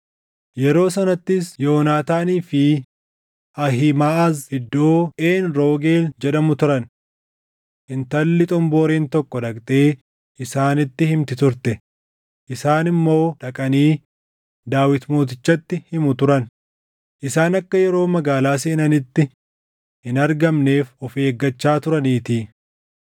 Yeroo sanattis Yoonaataanii fi Ahiimaʼaz iddoo Een Roogeel jedhamu turan. Intalli xomboreen tokko dhaqxee isaanitti himti turte; isaan immoo dhaqanii Daawit mootichatti himu turan; isaan akka yeroo magaalaa seenanitti hin argamneef of eeggachaa turaniitii.